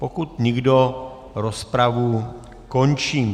Pokud nikdo, rozpravu končím.